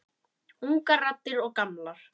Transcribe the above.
Ungar raddir og gamlar.